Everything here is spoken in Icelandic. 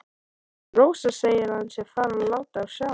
Rósa segir að hann sé farinn að láta á sjá.